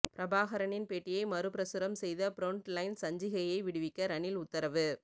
பிரபாகரனின் பேட்டியை மறுபிரசுரம் செய்த ப்ரொண்ட் லைன் சஞ்சிகையை விடுவிக்க ரணில் உத்தரவு